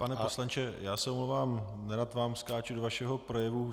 Pane poslanče, já se omlouvám, nerad vám skáču do vašeho projevu.